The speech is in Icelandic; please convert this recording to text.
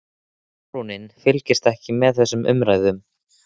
Hvað er að heyra, kindin mín, þú sagðir fallöxi.